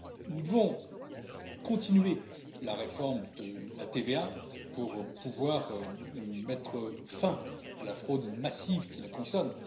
Nous devons continuer la réforme de la TVA pour pouvoir mettre fin à la fraude massive qui la concerne.